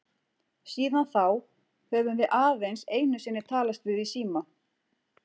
Síðan þá höfum við aðeins einu sinni talast við í síma.